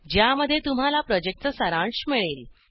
ज्यामध्ये तुम्हाला प्रॉजेक्टचा सारांश मिळेल